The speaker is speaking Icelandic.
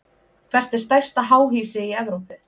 Hvert er stærsta háhýsi í Evrópu?